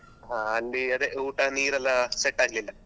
ಅಲ್ಲಿ ಅದೇ ಊಟ ನೀರೆಲ್ಲ set ಆಗ್ಲಿಲ್ಲ